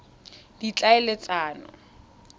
ditlhaeletsano